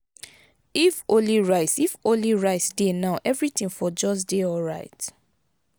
if only rice if only rice dey now everything for just dey alright